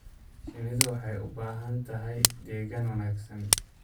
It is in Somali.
Shinnidu waxay u baahan tahay deegaan wanaagsan.